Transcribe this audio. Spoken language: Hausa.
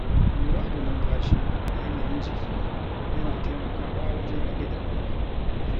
Lura da numfashi da yanayin jiki yana taimakawa wajen rage damuwa.